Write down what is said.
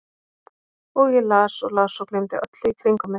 Og ég las og las og gleymdi öllu í kringum mig.